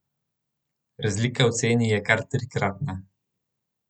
Razlika v ceni je kar trikratna.